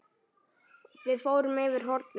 Við fórum fyrir hornið.